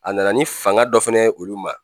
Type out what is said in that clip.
A nana ni fanga dɔ fana ye olu ma.